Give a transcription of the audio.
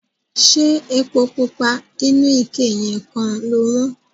Ṣé epo pupa inú ike yẹn kan lo wọ́n?